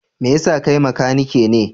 Me yasa kai makanike ne?